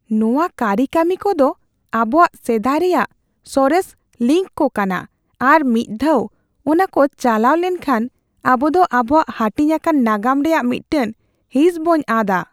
ᱱᱚᱶᱟ ᱠᱟᱹᱨᱤᱠᱟᱹᱢᱤ ᱠᱚᱫᱚ ᱟᱵᱚᱣᱟᱜ ᱥᱮᱫᱟᱭ ᱨᱮᱭᱟᱜ ᱥᱚᱨᱮᱥ ᱞᱤᱝᱠ ᱠᱚ ᱠᱟᱱᱟ, ᱟᱨ ᱢᱤᱫ ᱫᱷᱟᱣ ᱚᱱᱟᱠᱚ ᱪᱟᱞᱟᱣ ᱞᱮᱱᱠᱷᱟᱱ, ᱟᱵᱚ ᱫᱚ ᱟᱵᱚᱣᱟᱜ ᱦᱟᱹᱴᱤᱧ ᱟᱠᱟᱱ ᱱᱟᱜᱟᱢ ᱨᱮᱭᱟᱜ ᱢᱤᱫᱴᱟᱝ ᱦᱤᱸᱥ ᱵᱚᱱ ᱟᱫᱼᱟ ᱾